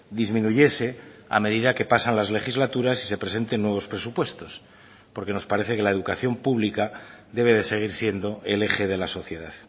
disminuyese a medida que pasan las legislaturas y se presenten nuevos presupuestos porque nos parece que la educación pública debe de seguir siendo el eje de la sociedad